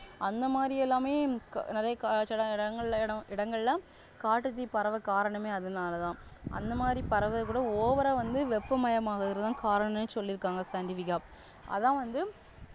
அந்தமாதிரியெல்லாமே நிறைய காடுகள் சிலஇடங்க~இடங்களிலாம் காட்டுத்தீ பரவ காரணமே அதனாலதான் அந்தமாதிரி பரவுரது கூட over ஆ வந்து வெப்பமயமாகுறதுதான் காரணம்னு சொல்லிருக்காங் scientific ஆ அதான் வந்து